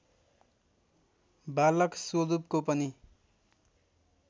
बालक स्वरूपको पनि